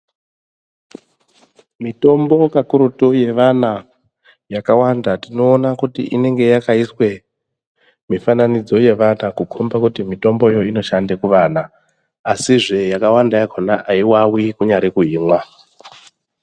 Mitombo kakurutu yevana yakawanda tinoona kuti inenge yakaiswe mifananidzo yevana kukombe kuti mitombo iyoyo inoshanda kuvana asizve yakawanda yakona aiwawi .kunyari kuimwa